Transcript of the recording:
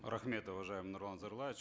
рахмет уважаемый нурлан зайроллаевич